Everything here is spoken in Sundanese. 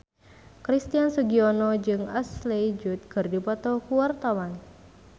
Christian Sugiono jeung Ashley Judd keur dipoto ku wartawan